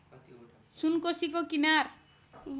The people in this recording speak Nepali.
सुनकोसीको किनार